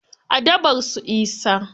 A dabar su isa.